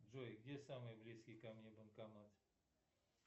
джой где самый близкий ко мне банкомат